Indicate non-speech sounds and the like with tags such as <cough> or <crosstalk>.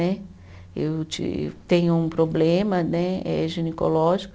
<unintelligible> Eu ti, tenho um problema né, eh ginecológico.